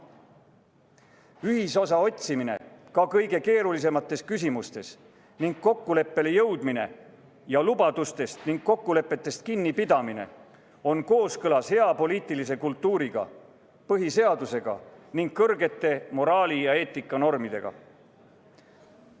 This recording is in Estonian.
Ühisosa otsimine ka kõige keerulisemates küsimustes ning kokkuleppele jõudmine ning lubadustest ja kokkulepetest kinnipidamine on kooskõlas hea poliitilise kultuuriga, põhiseadusega ning kõrgete moraali- ja eetikanormidega.